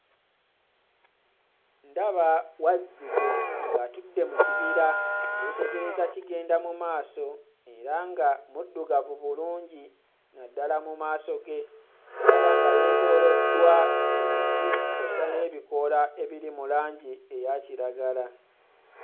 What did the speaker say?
Ndaba Wazzike ng'atudde mu kibira yeetegereza kigenda mu maaso era nga muddugavu bulungi naddala mu maaso ge ndaba nga yeetooloddwa emiti kw'ossa n'ebikoola ebiri mu langi eya kiragala